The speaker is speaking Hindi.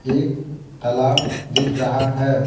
एक तालाब दिख रहा है ।